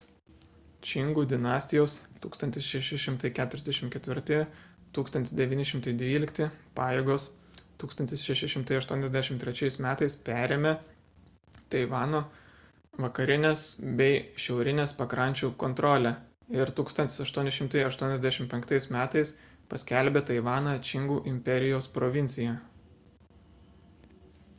čingų dinastijos 1644–1912 pajėgos 1683 m. perėmė taivano vakarinės bei šiaurinės pakrančių kontrolę ir 1885 m. paskelbė taivaną čingų imperijos provincija